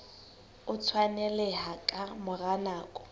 o tshwaneleha ka mora nako